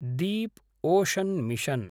deep ocean mission